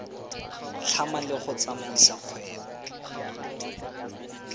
tlhama le go tsamaisa kgwebo